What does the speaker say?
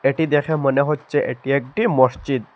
এটি দেখে মনে হচ্ছে এটি একটি মসজিদ।